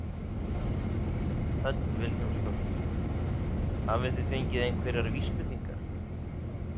Hödd Vilhjálmsdóttir: Hafið þið fengið einhverjar vísbendingar?